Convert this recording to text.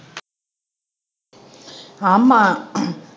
ஆமா